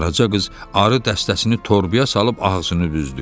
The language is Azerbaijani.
Qaraca qız arı dəstəsini torbaya salıb ağzını büzdü.